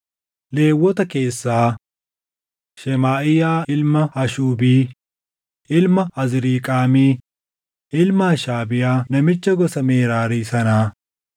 Lewwota keessaa: Shemaaʼiyaa ilma Hashuubii, ilma Azriiqaamii, ilma Hashabiyaa namicha gosa Meraarii sanaa;